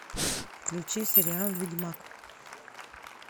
включи сериал ведьмак